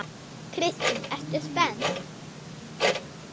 Kristín: Ertu spennt?